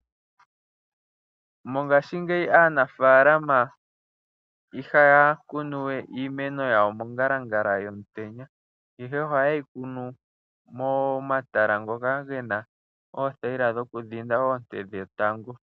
Mongaashingeyi aanafaalama ihaya kunu we iimeno yawo mongalangala yomutenya, ihe ohayeyi kunu momatala ngoka gena oothayila dhoku dhinda oonte dhetango.